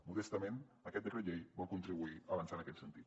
modestament aquest decret llei vol contribuir a avançar en aquest sentit